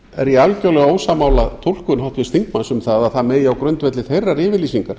er ég algjörlega ósammála túlkun háttvirts þingmanns um að það megi á grundvelli þeirrar yfirlýsingar